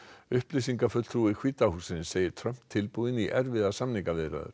upplýsingafulltrúi hvíta hússins segir Trump tilbúinn í erfiðar samningaviðræður